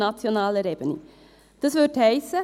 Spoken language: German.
Dies würde bedeuten: